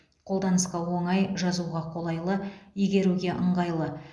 қолданысқа оңай жазуға қолайлы игеруге ыңғайлы